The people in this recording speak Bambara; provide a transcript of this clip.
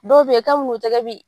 Dɔw be yen kabini u tɛgɛ bi.